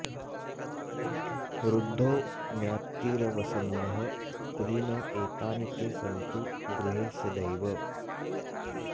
वृद्धो ज्ञातिरवसन्नः कुलीन एतानि ते सन्तु गृहे सदैव